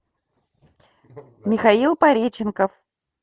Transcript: михаил пореченков